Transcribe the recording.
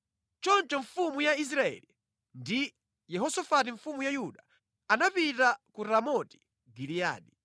Choncho mfumu ya Israeli ndi Yehosafati mfumu ya Yuda anapita ku Ramoti Giliyadi.